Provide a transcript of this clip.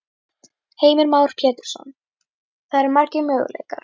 Heimir Már Pétursson: Það eru margir möguleikar?